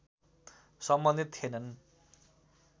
सम्बन्धित थिएनन्